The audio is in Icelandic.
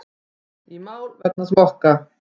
Í mál vegna smokka